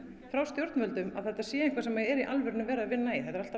frá stjórnvöldum að þetta sé eitthvað sem er í alvörunni verið að vinna í þetta